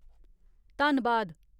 धन्नबाद